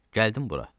Gəldim bura.